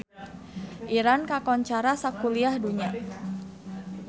Iran kakoncara sakuliah dunya